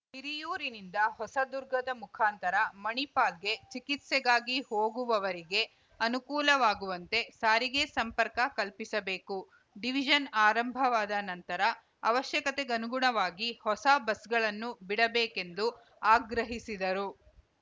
ಹಿರಿಯೂರಿನಿಂದ ಹೊಸದುರ್ಗದ ಮುಖಾಂತರ ಮಣಿಪಾಲ್‌ಗೆ ಚಿಕಿತ್ಸೆಗಾಗಿ ಹೋಗುವವರಿಗೆ ಅನುಕೂಲವಾಗುವಂತೆ ಸಾರಿಗೆ ಸಂಪರ್ಕ ಕಲ್ಪಿಸಬೇಕು ಡಿವಿಜನ್‌ ಆರಂಭವಾದ ನಂತರ ಅವಶ್ಯಕತೆಗನುಗುಣವಾಗಿ ಹೊಸ ಬಸ್‌ಗಳನ್ನು ಬಿಡಬೇಕೆಂದು ಆಗ್ರಹಿಸಿದರು